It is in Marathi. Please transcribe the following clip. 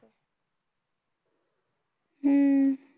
हम्म